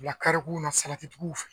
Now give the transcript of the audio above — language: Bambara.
Bila karekunw na salatiw fɛ